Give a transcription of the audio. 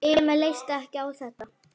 Emil leist ekki á þetta.